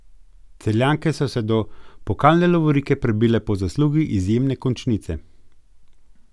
Celjanke so se do pokalne lovorike prebile po zaslugi izjemne končnice.